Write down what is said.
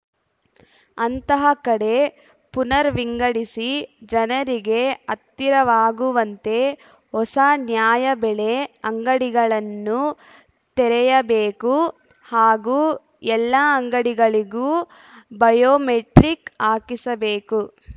ಅಂತಹ ಕಡೆ ಪುನರ್‌ ವಿಂಗಡಿಸಿ ಜನರಿಗೆ ಹತ್ತಿರವಾಗುವಂತೆ ಹೊಸ ನ್ಯಾಯಬೆಲೆ ಅಂಗಡಿಗಳನ್ನು ತೆರೆಯಬೇಕು ಹಾಗೂ ಎಲ್ಲಾ ಅಂಗಡಿಗಳಿಗೂ ಬಯೋಮೆಟ್ರಿಕ್‌ ಹಾಕಿಸಬೇಕು